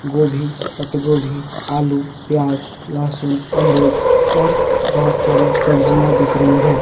गोभी पत्त गोभी आलू प्याज लहसुन अमरुद और बहुत सारे सब्जियां दिख रही हैं।